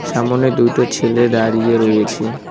সামোনে দুইটো ছেলে দাঁড়িয়ে রয়েছে।